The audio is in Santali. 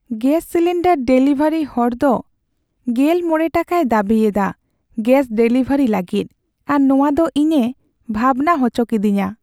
ᱜᱮᱹᱥ ᱥᱤᱞᱤᱱᱰᱟᱨ ᱰᱮᱞᱤᱵᱷᱟᱨᱤ ᱦᱚᱲᱫᱚ ᱕᱐ ᱴᱟᱠᱟᱭ ᱫᱟᱹᱵᱤ ᱮᱫᱟ ᱜᱮᱹᱥ ᱰᱮᱞᱤᱵᱷᱟᱨᱤ ᱞᱟᱹᱜᱤᱫ ᱟᱨ ᱱᱚᱶᱟᱫᱚ ᱤᱧᱮ ᱵᱷᱟᱵᱽᱱᱟ ᱦᱚᱪᱚ ᱠᱤᱫᱤᱧᱟ ᱾